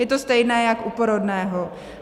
Je to stejné jak u porodného.